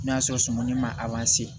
N'a sɔrɔ sumuni ma